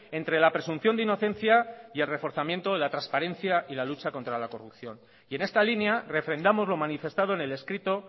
entre la presunción de inocencia y el reforzamiento de la transparencia y la lucha contra la corrupción y en esta línea refrendamos lo manifestado en el escrito